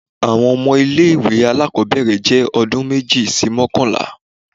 Awọn ọmọ ile-iwe alakọbẹrẹ jẹ ọdun meji si mọkanla.